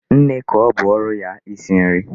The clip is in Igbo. Nne ka ọ bụ ọrụ ya isi nri.